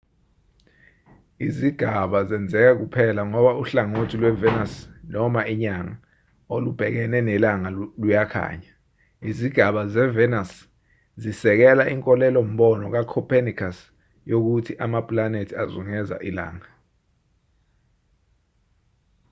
izigaba zenzeka kuphela ngoba uhlangothi lwevenus noma inyanga olubhekene nelanga luyakhanya. izigaba zevenus zisekela inkolelo-mbono kacopenicus yokuthi amapulanethi azungeza ilanga